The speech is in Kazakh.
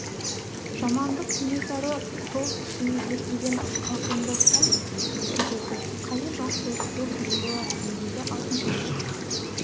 жамандық кенесары сол түсін өзгертпеген қалпында сәл кідірді қазір жақсылық күту қиын болар не дейді алтыншаш